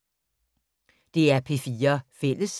DR P4 Fælles